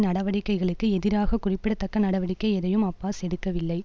நடவடிக்கைகளுக்கு எதிராக குறிப்பிடத்தக்க நடவடிக்கை எதையும் அப்பாஸ் எடுக்கவில்லை